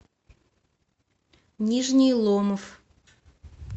нижний ломов